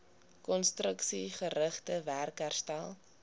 konstruksiegerigte werk herstel